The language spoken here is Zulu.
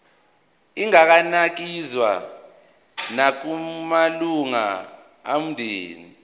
inganikezswa nakumalunga omndeni